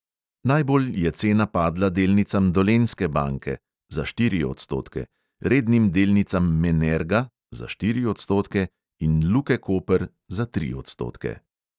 Najbolj je cena padla delnicam dolenjske banke (za štiri odstotke), rednim delnicam menerga (za štiri odstotke) in luke koper (za tri odstotke).